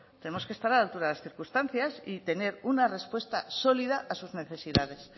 tenemos que estar a la altura de las circunstancias y tener una respuesta sólida a sus necesidades